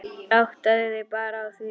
Áttaðu þig bara á því.